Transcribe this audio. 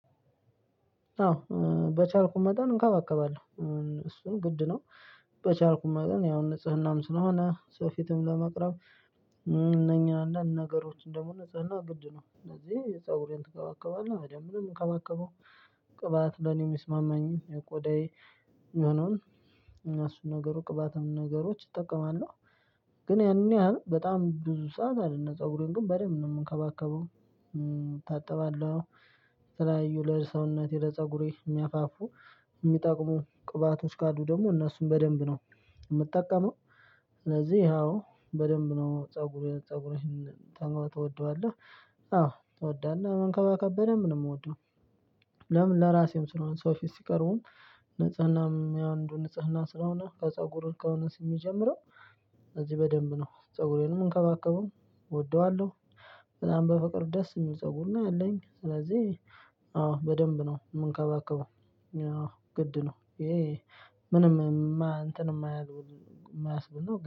አዎ በቻልኩኝ መጠን እንከባከባለን እሱን ግድ ነው። በቻልኩኝ መጠን ያው ንጽህናም ስለሆነ ሰው ፊትም ለመቅረብ። እነኚህና ነገሮችን ደግሞ ንጽህና ግድ ነው እነዚህ የፀጉሬን ትከባከባለህ አይደለም በደንብ ነው የምንከባከበው። ቅባት ለኔ ሚስማማኝ የቆዳዬ እነሱን ነገሩ ቅባትን ነገሮች እጠቀማለሁ። ግን ያንን ያህል በጣም ብዙ ሰዓት አይደለም ፀጉሬን ግን በደንብ ነው የምንከባከበው። እታጠባለሁ። ለተለያዩ ለሰውነቴ ለፀጉሬ የሚያፋፉ የሚጠቅሙ ቅባቶች ጋር ዱ ደግሞ እነሱን በደንብ ነው የምጠቀመው። ስለዚህ ያው በደንብ ነው ፀጉሩን ፀጉሩን ትወደዋለህ? አዎ ተወደናል እና መንከባከበን በደንብ ነው የምወደው። ለምን ለራሴም ስለሆነ ሰው ፊት ሲቀርቡን ንጽህናም ያው ንጽህና ስለሆነ ከፀጉር እርከን እንደሚጀምረው። እዚህ በደንብ ነው ፀጉሬንም እንከባከበዋለሁ እወደዋለሁ። በጣም በፍቅር ደስ የሚል ፀጉር ነው ያለኝ ስለዚህ አዎ በደንብ ነው የምንከባከበው። ግድ ነው ይሄ ምንም እንትን የማያስብል ነው